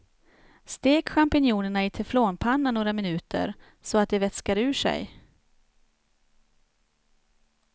Stek champinjonerna i teflonpanna några minuter så att de vätskar ur sig.